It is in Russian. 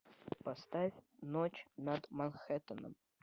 поставь ночь над манхэттеном